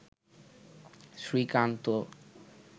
Srikanta